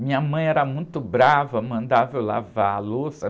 Minha mãe era muito brava, mandava eu lavar a louça.